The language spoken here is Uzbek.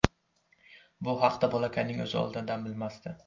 Bu haqda bolakayning o‘zi oldindan bilmasdi.